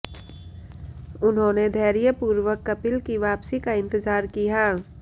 उन्होंने धैर्यपूर्वक कपिल की वापसी का इंतजार किया